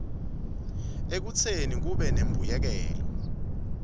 ekutseni kube nembuyekelo